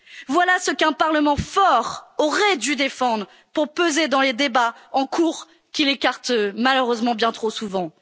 les ignorer. Voilà ce qu'un Parlement fort aurait dû défendre pour peser dans les débats en cours, qu'il écarte malheureusement bien